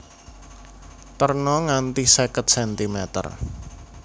Terna nganti seket centimeter